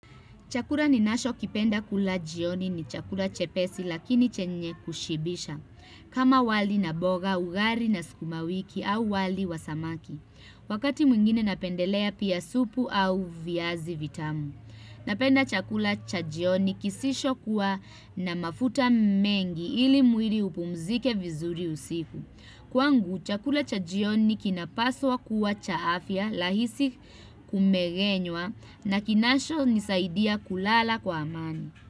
Chakura ninashokipenda kula jioni ni chakura chepesi lakini chenye kushibisha. Kama wali na boga, ugari na sukumawiki au wali wa samaki. Wakati mwingine napendelea pia supu au viazi vitamu. Napenda chakula cha jioni kisishokuwa na mafuta mengi ili muiri upumzike vizuri usiku. Kwangu, chakula cha jioni kinapaswa kuwa cha afya lahisi kumegenywa na kinashonisaidia kulala kwa amani.